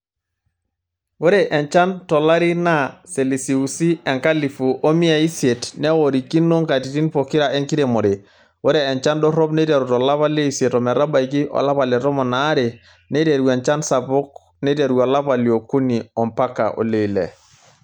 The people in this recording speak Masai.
Ore enchan tolari naa selisiusi enkalifu omiai isiet neworikino nkatitin pokira enkiremore. Ore enchan dorop neiteru tolapa leisiet ometabaiki olapa le tomon are, neiteru enchan sapuk neiteru olapa liokuni ompaka oleile.